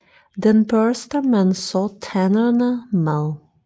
Den børster man så tænderne med